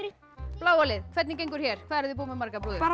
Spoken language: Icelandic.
bláa lið hvernig gengur hér hvað eruð þið búin með margar brúður